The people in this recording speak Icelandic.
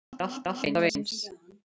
Hann er alltaf eins.